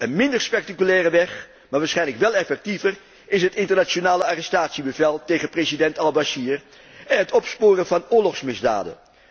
Een minder spectaculaire weg, maar waarschijnlijk wel effectiever, is het internationaal arrestatiebevel tegen president Al Bashir en het opsporen van oorlogsmisdaden.